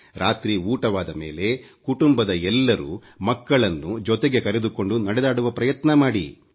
ರಾತ್ರಿ ಊಟವಾದ ಮೇಲೆ ಕುಟುಂಬದ ಎಲ್ಲರೂ ಮಕ್ಕಳನ್ನು ಜೊತೆಗೆ ಕರೆದುಕೊಂಡು ನಡೆದಾಡುವ ಪ್ರಯತ್ನ ಮಾಡಿ